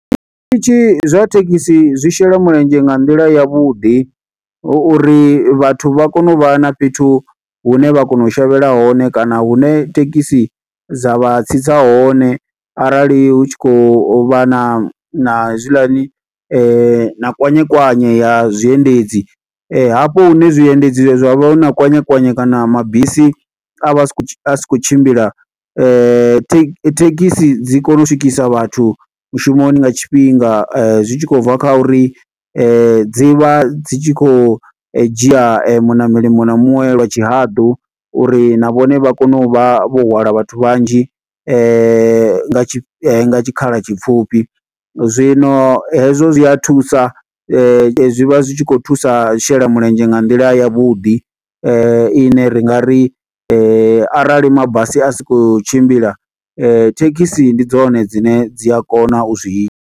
Zwiṱitshi zwa thekhisi zwi shela mulenzhe nga nḓila yavhuḓi, hu uri vhathu vha kone u vha na fhethu hune vha kona u shavhela hone, kana hune thekhisi dza vha tsitsa hone. Arali hu tshi khou vha na na hezwiḽani, na kwanyekwanye ya zwiendedzi. Hafho hune zwiendedzi zwa vha na kwanyekwanye kana mabisi a vha a sikho asi khou tshimbila, thekhisi dzi kona u swikisa vhathu mushumoni nga tshifhinga. Zwi tshi khou bva kha uri dzi vha dzi tshi khou dzhia muṋameli muṅwe na muṅwe lwa tshihaḓu, uri na vhone vha kone u vha vho hwala vhathu vhanzhi, nga tshikhala tshipfhufhi. Zwino hezwo zwi a thusa zwi vha zwi tshi khou thusa, u shela mulenzhe nga nḓila ya vhuḓi ine ri nga ri arali mabasi a si khou tshimbila, thekhisi ndi dzone dzine dzi a kona u zwi ita.